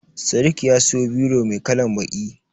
Sadiq ya siyo biro mai kalan baƙi.